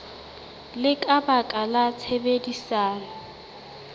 le ka baka la tshebedisano